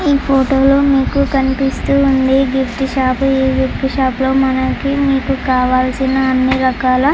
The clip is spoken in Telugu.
ఈ ఫోటో లో మీకు కనిపిస్తూ ఉంది గిఫ్ట్ షాప్ ఈ గిఫ్ట్ షాప్ లో మనకి మీకు కావాల్సిన అన్ని రకాల --